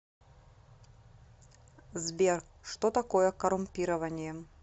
сбер что такое коррумпирование